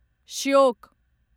Shyok